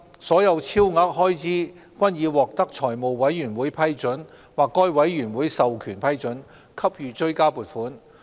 所有超額開支均已獲得財務委員會批准或該委員會授權批准，給予追加撥款。